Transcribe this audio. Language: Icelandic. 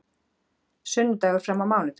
Sunnudagur fram á mánudag